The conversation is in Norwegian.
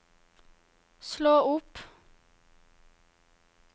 slå opp